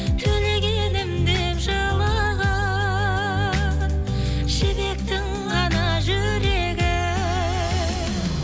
төлегенім деп жылаған жібектің ғана жүрегі